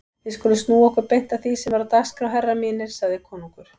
Við skulum snúa okkur beint að því sem er á dagskrá herrar mínir, sagði konungur.